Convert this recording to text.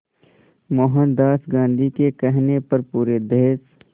मोहनदास गांधी के कहने पर पूरे देश